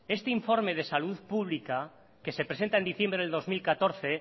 este informe de salud pública que se presenta en diciembre del dos mil catorce